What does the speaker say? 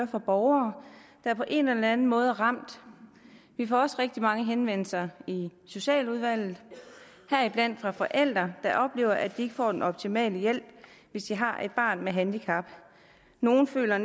fra borgere der på en eller anden måde er ramt vi får også rigtig mange henvendelser i socialudvalget heriblandt fra forældre der oplever at de ikke får den optimale hjælp hvis de har et barn med handicap nogle føler